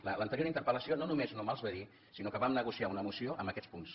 en l’anterior interpel·lació no només no me’ls va dir sinó que vam negociar una moció amb aquests punts